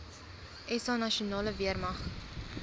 sa nasionale weermag